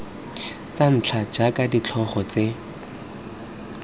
tsa ntlha jaaka ditlhogo tse